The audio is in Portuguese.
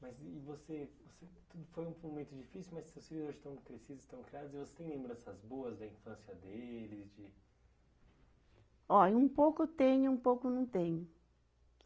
Mas e você, você, tudo foi, foi um momento difícil, mas seus filhos hoje estão crescidos, estão criados, e você tem lembranças boas da infância deles, de Ó, um pouco tenho, um pouco não tenho.